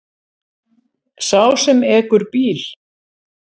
Sá sem ekur bíl.